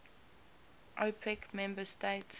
opec member states